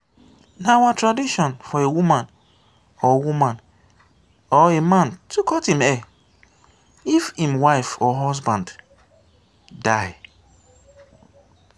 na our tradition for a woman or woman or a man to cut im hair if im wife or husband die.